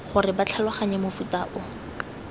gore ba tlhaloganye mofuta o